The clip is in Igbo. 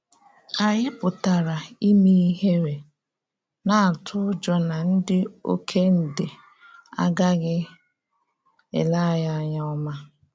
Ànyí pụtara ime ihéré, na-átụ ụ́jọ́ na ndị ọkèndè agaghị elé ànyí ányá ọma.